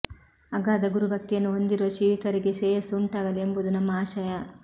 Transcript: ಅಗಾಧ ಗುರುಭಕ್ತಿಯನ್ನು ಹೊಂದಿರುವ ಶ್ರೀಯುತರಿಗೆ ಶ್ರೇಯಸ್ಸು ಉಂಟಾಗಲಿ ಎಂಬುದು ನಮ್ಮ ಆಶಯ